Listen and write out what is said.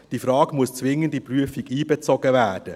Diese Frage muss zwingend in die Prüfung einbezogen werden.